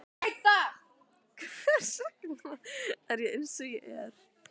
Hvers vegna er ég eins og ég er?